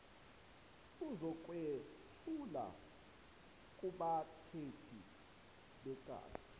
uzokwethula kubathethi becala